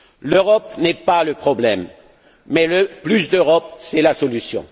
L'Europe n'est pas le problème, mais le plus d'Europe est la solution.